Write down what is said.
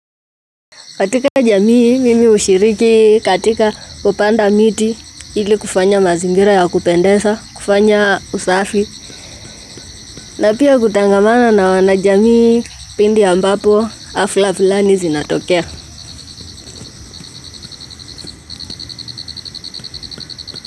Katika jamii mimi hushiriki katika kupanda miti ili kufanya mazingira ya kupendeza, kufanya usafi, na pia kutangamana na wana jamii pindi ambapo hafla fulani zinatokea.